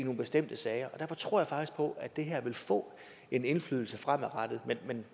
nogle bestemte sager og derfor tror jeg faktisk på at det her vil få en indflydelse fremadrettet men